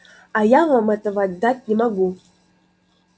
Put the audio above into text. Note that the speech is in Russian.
а я вам этого дать не могу